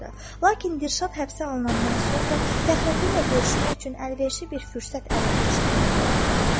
Lakin Dilşad həbsə alınandan sonra Fəxrəddinin onunla görüşmək üçün əlverişli bir fürsət ələ keçdiyini anladı.